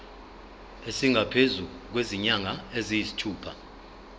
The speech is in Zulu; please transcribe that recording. esingaphezu kwezinyanga eziyisithupha